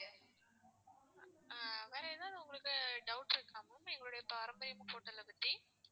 ஆஹ் வேற ஏதாவது உங்களுக்கு doubts இருக்குதா ma'am எங்களுடைய பாரம்பரியம் ஹோட்டலை பத்தி